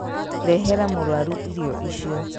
Rehera mũrwaru irio icio